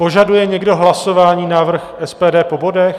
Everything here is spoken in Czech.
Požaduje někdo hlasování, návrh SPD po bodech?